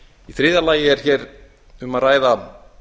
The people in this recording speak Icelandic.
í þriðja lagi er um að ræða að